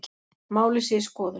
Málið sé í skoðun